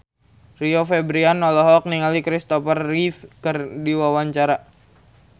Rio Febrian olohok ningali Christopher Reeve keur diwawancara